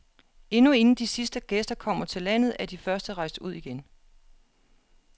Endnu inden de sidste gæster kommer til landet, er de første rejst ud igen.